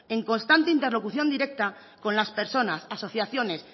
en constante interlocución directa con las personas asociaciones